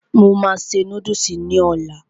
Mo máa se núdùsì ní ọlá